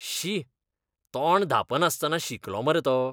शी, तोंड धांपनासतना शिंकलो मरे तो.